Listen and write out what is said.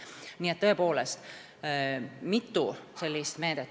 Nii et siin on tõepoolest mitu meedet.